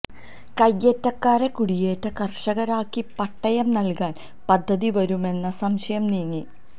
കയ്യേറ്റക്കാരെ കുടിയേറ്റ കര്ഷകരാക്കി പട്ടയം നല്കാന് പദ്ധതി വരുമെന്ന സംശയം നീങ്ങി